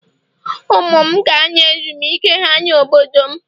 Ụmụ m ga-anọ ezumike ha na obodo m